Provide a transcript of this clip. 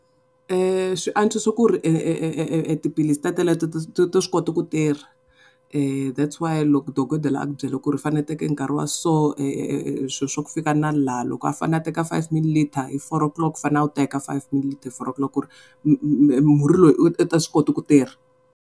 Swi antswisa ku ri tiphilisi teteleto ti swi kota ku tirha that's why loko dokodela a ku byela ku ri fane teka nkarhi wa so swilo swa ku fika na lani loko a fane a teka five mililiter hi four o'clock u fanele a wu teka five millileter hi four o'clock ku ri murhi lowu u ta swi koti ku tirha.